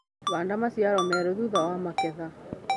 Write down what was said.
Handa maciaro merũ thutha wa magetha.